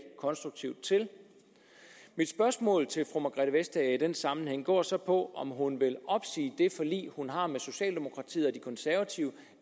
konstruktivt til mit spørgsmål til fru margrethe vestager i den sammenhæng går så på om hun vil opsige det forlig hun har med socialdemokratiet og de konservative